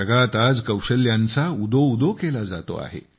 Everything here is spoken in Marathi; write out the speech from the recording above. जगात आज कौशल्यांचा उदोउदो केला जातो आहे